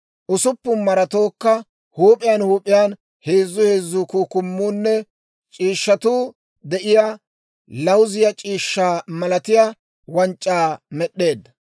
Usuppun maratookka huup'iyaan huup'iyaan heezzu heezzu kukkumuunne c'iishshatuu de'iyaa lawuziyaa c'iishshaa malatiyaa wanc'c'aa med'd'eedda;